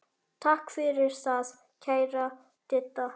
Takk fyrir það, kæra Didda.